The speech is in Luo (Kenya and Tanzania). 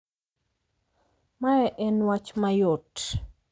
Mae en wach mayot.